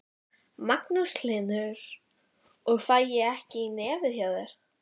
Magnús Hlynur: Og fæ ég ekki í nefið hjá þér?